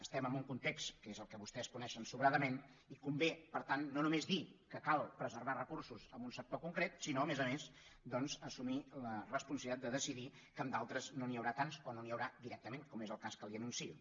estem en un context que és el que vostès coneixen sobradament i convé per tant no només dir que cal preservar recursos en un sector concret sinó a més a més doncs assumir la responsabilitat de decidir que en d’altres no n’hi haurà tants o no n’hi haurà directament com és el cas que li anuncio